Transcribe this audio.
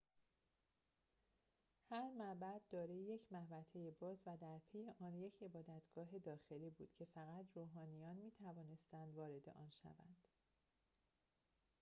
هر معبد دارای یک محوطه باز و درپی آن یک عبادتگاه داخلی بود که فقط روحانیان می‌توانستند وارد آن شوند